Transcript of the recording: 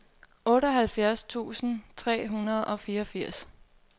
otteoghalvfjerds tusind tre hundrede og fireogfirs